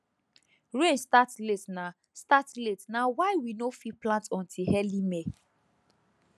rain start late na start late na why we no fit plant until early may